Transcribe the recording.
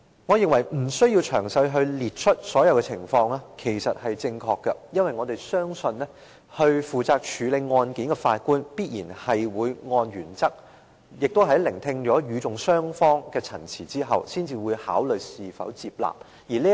我認為不需要詳細列出所有的情況，因為我們相信，負責處理案件的法官必然會按原則，並在聆聽與訟雙方的陳詞後，才考慮是否接納為呈堂證供。